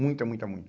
Muita, muita, muita.